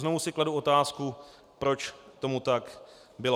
Znovu si kladu otázku, proč tomu tak bylo.